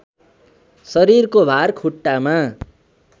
शरीरको भार खुट्टामा